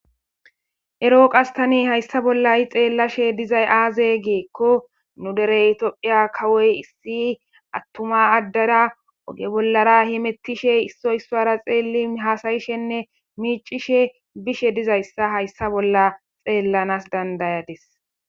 ero qas tani hayssa bolla xeellashe dizay aaze giikko nu derey tophiya kawoy issi attuma addara oge bollara himettishe issoy isuwara xeelli haasayishenne miicishe bishe dizayssa hayssa bolla xeellanas dandayadis